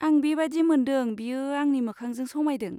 आं बे बादि मोनदों बेयो आंनि मोखांजों समायदों।